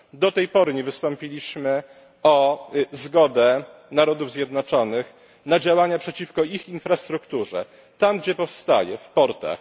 Do tej pory nie wystąpiliśmy o zgodę Narodów Zjednoczonych na działania przeciwko ich infrastrukturze tam, gdzie powstaje w portach.